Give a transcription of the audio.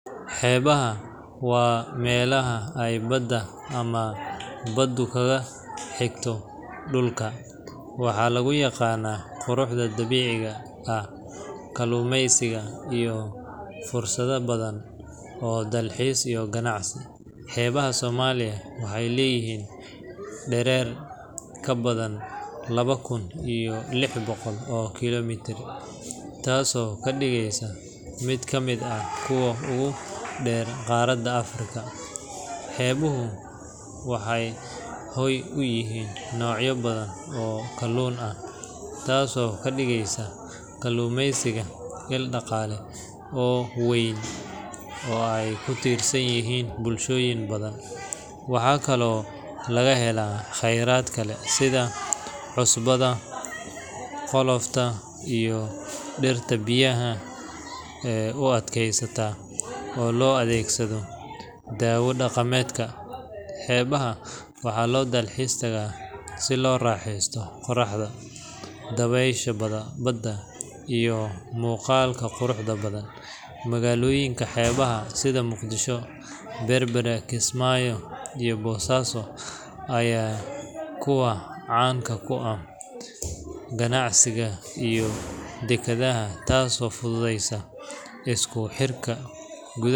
Xebaha wa melaha aay bada amah badu aay kagaxigto dulka waxa lagu yaqanah quraxda dabiciga, ah kalumeska iyo fursada babadhan iyoh dalxis iyo kanacsi, xebaha somalia waxay leyihin derer kabadhan labo kun iyo lix boqol oo kilomitar tasi oo kadigeysa mid kamid ah kuwa ogu der qarada africa, xebuhu waxay qeyb uyihin nocyo badhan oo kalun ah tasi okadigeyso kalumeysiga mid daqale oo weyn oo aay kutirsanyihin bulshoyin badhan waxa kale oo lagahela qerad kale sidhaa cusbada, colofta iyo dirta biyaha ee uad keysata oo loo adegsada dawo kuwa daqamedka ah xebaha waxa lo talxis taga sii loo raxeysto qoraxda iyo dawesha bada iyo muqalka quraxda badhan magaloyinka xebaha sidhii muqdisho, berbera, kismayo iyo bosaso aya kuwa canga kuah ganacsiga iyo dekadaha tasi ufududeyso iskuxirka gudaha.